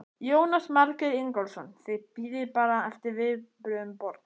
Jónas Margeir Ingólfsson: Þið bíðið bara eftir viðbrögðum borgar?